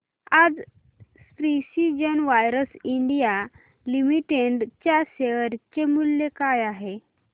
आज precision wires India limited च्या share चे मूल्य काय आहे